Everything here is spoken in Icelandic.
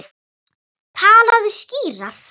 Talaðu skýrar.